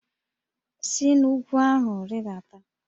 Si n'úgwú ahụ rịdata!